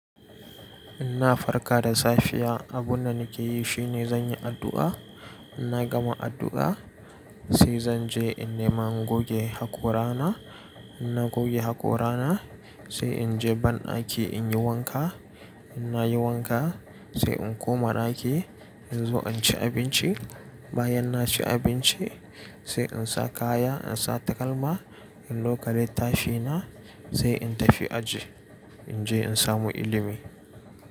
In na farka da safiya, abunda nake yi shine zan yi addu'a. In na gama addu'a sai zan je in nema in goge hakorana. In na goge hakorana sai in je banɗaki in yi wanka. In na yi wanka sai in koma ɗaki in zo in ci abinci. Bayan na ci abinci sai in sa kaya, in sa takalma in ɗauka littafi na sai in tafi aji in je in samu ilimi.